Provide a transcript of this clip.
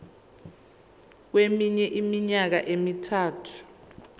kweminye iminyaka emithathu